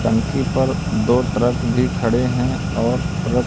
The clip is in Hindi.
टंकी पर दो ट्रक भी खड़े है और ट्रक --